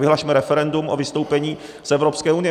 Vyhlasme referendum o vystoupení z Evropské unie!